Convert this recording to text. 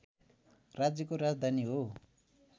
राज्यको राजधानी हो